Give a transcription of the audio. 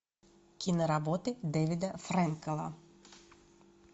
киноработы дэвида фрэнкела